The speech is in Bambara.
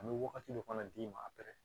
An bɛ wagati dɔ fana d'i ma a bɛrɛ